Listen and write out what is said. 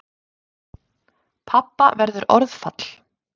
Pabba verður orðfall.